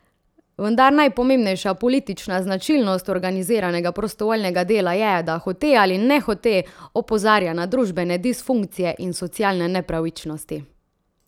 Vendar najpomembnejša politična značilnost organiziranega prostovoljnega dela je, da hote ali nehote opozarja na družbene disfunkcije in socialne nepravičnosti.